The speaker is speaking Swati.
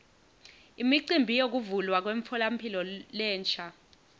imicimbi yekuvulwa kwemtfolamphilo lensha